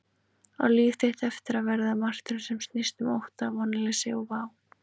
Á líf þitt eftir að verða martröð sem snýst um ótta, vonleysi og vá?